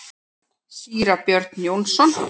Síra Björn Jónsson